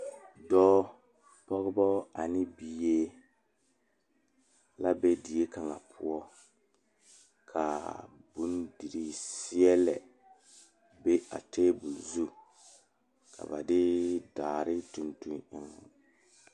Teere mine pare la ka yiri kaŋa are a be kyɛ kaa bipole a de gangaare yeere ba kɔkɔre poɔ kyɛ kaa kaŋa seɛ kuri wogi kaa gbɛɛ e peɛrɛ peeɛ kyɛ ko'o de bonziɛ le o zu.